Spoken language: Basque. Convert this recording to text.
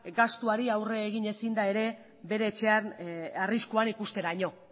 gastuari aurre egin ezin da ere bere etxean arriskuan ikusteraino